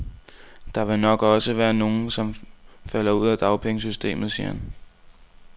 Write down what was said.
Der vil nok også være nogen, som falder ud af dagpengesystemet, siger han.